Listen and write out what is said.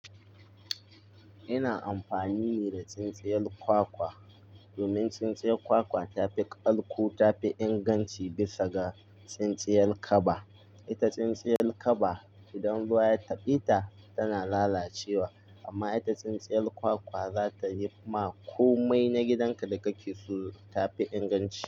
Ina amfani ne da tsintsiyar kwakwa domin tsintsiyar kwakwa tafi ƙalko, tafi inganci bisa ga tsintsiyar kaba. Ita tsintsiyar kaba idan ruwa ya taɓa ita tana lalacewa amma ita tsintsiyar kwakwa za ta yi ma komai na gidanka da kake so. Tafi inganci.